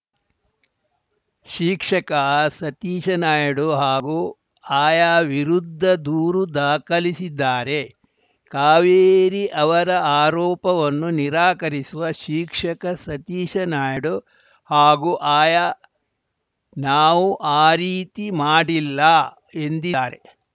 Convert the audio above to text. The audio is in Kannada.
ಶಿಕ್ಷಕ ಸತೀಶ್‌ ನಾಯ್ಡು ಹಾಗೂ ಆಯಾ ವಿರುದ್ಧ ದೂರು ದಾಖಲಿಸಿದ್ದಾರೆ ಕಾವೇರಿ ಅವರ ಆರೋಪವನ್ನು ನಿರಾಕರಿಸುವ ಶಿಕ್ಷಕ ಸತೀಶ್‌ ನಾಯ್ಡು ಹಾಗೂ ಆಯಾ ನಾವು ಆ ರೀತಿ ಮಾಡಿಲ್ಲ ಎಂದಿದ್ದಾರೆ